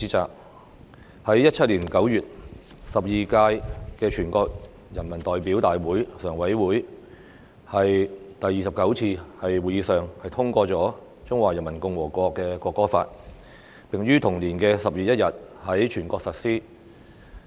在2017年9月，第十二屆全國人大常委會第二十九次會議通過《中華人民共和國國歌法》，並於同年10月1日在全國實施。